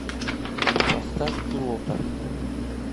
поставь пилота